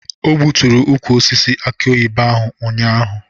O gbutụrụ ukwu osisi akị oyibo ahụ ụnyaahụ.